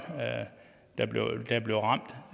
der blev ramt